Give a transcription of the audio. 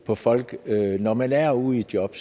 på folk når man er ude i job